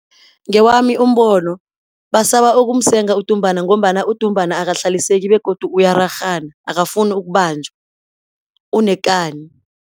Ngewami umbono, basaba ukumsenga udumbana ngombana udumbana akahlaliseki begodu uyararhana, akafuni ukubanjwa, unekani.